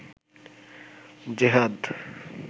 জেহাদ